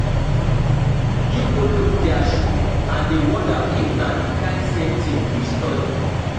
you go look dia shoe and dey wonder if na di kain same tin we study